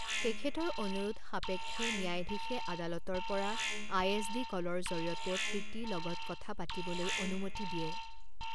তেখেতৰ অনুৰোধ সাপেক্ষে, ন্যায়াধীশে আদালতৰ পৰা আইএছডি কলৰ জৰিয়তে প্ৰীতি লগত কথা পাতিবলৈ অনুমতি দিয়ে।